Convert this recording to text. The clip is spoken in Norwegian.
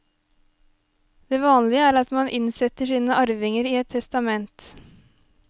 Det vanlige er at man innsetter sine arvinger i et testament.